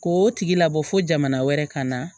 K'o tigi labɔ fo jamana wɛrɛ ka na